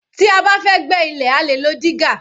Tí a bá fẹ́ gbẹ́ ilẹ̀ a lè lo dígà